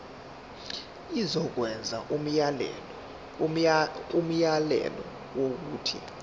izokwenza umyalelo wokuthi